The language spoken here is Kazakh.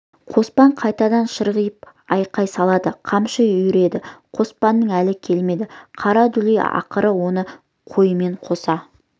қоспан қайтадан ширығып айқай салады қамшы үйіреді қоспанның әлі келмеді қара дүлей ақыры оны қойымен қоса